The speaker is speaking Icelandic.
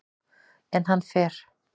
En hann fer.